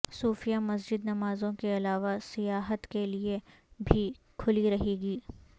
صوفیہ مسجد نمازوں کے علاوہ سیاحت کیلئے بھی کھلی رہے گی